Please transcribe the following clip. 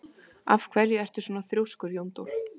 Af hverju ertu svona þrjóskur, Jóndór?